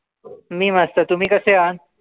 मी मस्त तुम्ही कसे आहान?